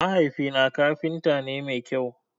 Mahaifi na kafinta ne mai kyau.